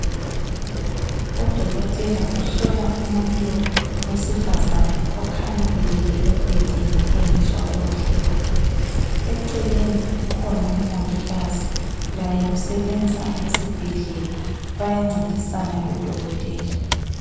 Udokotela uhlola umuntu wesifazane okhanya elele embhedeni engezwa kuhle. Eceleni kukhona umongikazi laye usebenza esibhedlela bayancedisana lodokotela.